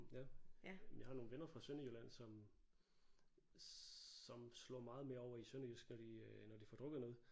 Ja men jeg har nogle venner fra Sønderjylland som som slår meget mere over i sønderjysk når de øh når de får drukket noget